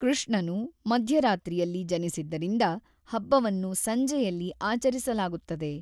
ಕೃಷ್ಣನು ಮಧ್ಯರಾತ್ರಿಯಲ್ಲಿ ಜನಿಸಿದ್ದರಿಂದ ಹಬ್ಬವನ್ನು ಸಂಜೆಯಲ್ಲಿ ಆಚರಿಸಲಾಗುತ್ತದೆ.